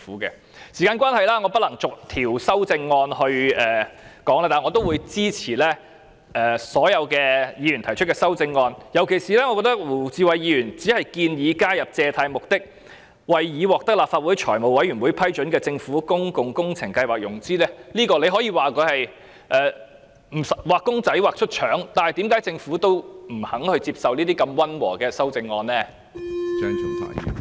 由於時間關係，我不能就所有修訂議案逐項討論，但我支持所有議員提出的修訂議案，尤其是胡志偉議員只是建議加入借貸旨在為已獲得立法會財務委員會批准的政府公共工程計劃融資，這可說是"畫公仔畫出腸"，但為何政府連如此溫和的修訂議案也不肯接受呢？